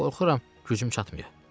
Qorxuram, gücüm çatmayıb.